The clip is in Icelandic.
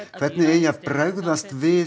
hvernig eigi að bregðast við